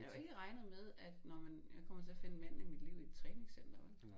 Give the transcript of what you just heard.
Jeg havde jo ikke regnet med at nåh men jeg kommer til at finde manden i mit liv i et træningscenter vel